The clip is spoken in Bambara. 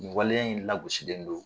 Waleya in lagosilen don